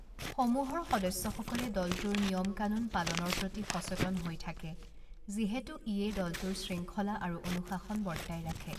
সমূহৰ সদস্যসকলে দলটোৰ নিয়ম কানুন পালনৰ প্ৰতি সচেতন হৈ থাকে যিহেতু ইয়েই দলটোৰ শৃংঙ্খলা আৰু অনুশাসন বৰ্তাই ৰাখে।